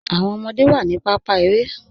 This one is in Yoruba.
Awọn ọmọde wa ni pàpá èrè.